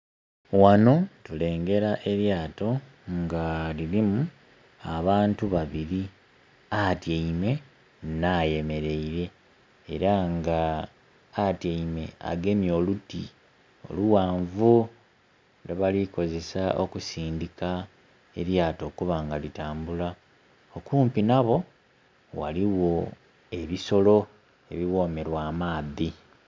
Wano tulengera elyato nga lirimu abantu babiri, atyeime na yemeleire era nga atyeime agemye oluti olughanvu lwebalikukozesa okusindika elyato okubanga litambula. Okumpi nabo, ghaligho ebisolo ebiwomerwa amaadhi.